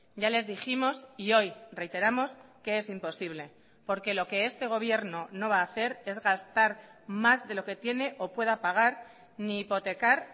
ya les dijimos y hoy reiteramos que es imposible porque lo que este gobierno no va a hacer es gastar más de lo que tiene o pueda pagar ni hipotecar